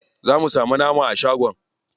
Za mu samu nama a shagon.